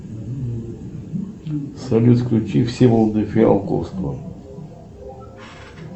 салют включи всеволода фиалковского